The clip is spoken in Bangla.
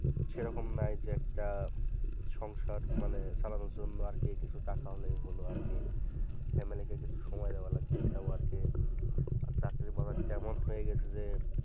সেরকম নাই যে একটা সংসার মানে চালানোর জন্য আরকি কিছু টাকা হলেই হলো আরকি family কে কিছু সময় দেওয়া লাগবে তাও আরকি আর চাকরি মনে হচ্ছে এমন হয়ে গেছে যে